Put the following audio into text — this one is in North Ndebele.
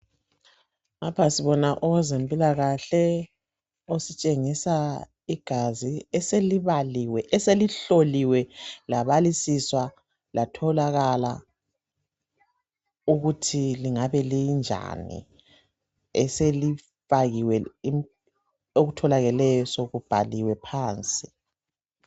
Lapha sibona owezempilakahle ositshengisa igazi eselibaliwe , eselihloliwe, labalisiswa latholakala ukuthi lingabe linjani eselipakiwe .Okutholakeleyo sokubhaliwe phansi .